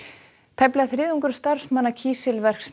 tæplega þriðjungur starfsmanna kísilverksmiðju